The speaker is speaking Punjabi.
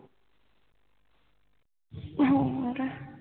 ਹੋਰ